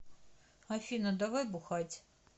афина давай бухать